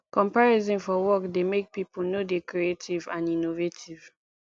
comparison for work dey make pipo no dey creative and innovative